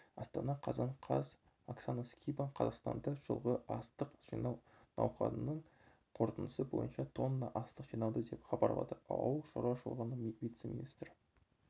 астана қазан қаз оксана скибан қазақстанда жылғы астық жинау науқанының қорытындысы бойынша тонна астық жиналды деп хабарлады ауыл шаруашылығының вице-министрі